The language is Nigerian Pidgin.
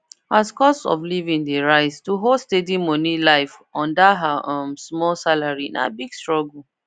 as cost of living dey rise to hold steady money life on that her um small salary na big struggle